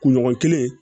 Kunɲɔgɔn kelen